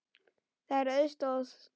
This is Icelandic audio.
Það er auðsótt mál.